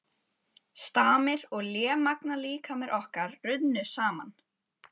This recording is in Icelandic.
Stamir og lémagna líkamir okkar runnu saman.